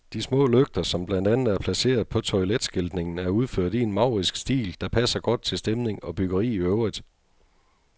De små lygter, som blandt andet er placeret på toiletskiltningen, er udført i en maurisk stil, der passer godt til stemning og byggeri i øvrigt.